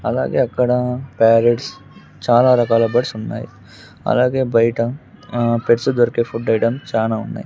అలాగే అక్కడ ప్యారెట్స్ చాలా రకాల బర్డ్స్ ఉన్నాయి అలాగే బయట ఆ పెట్స్ దొరికే ఫుడ్ ఐటం చానా ఉన్నాయి.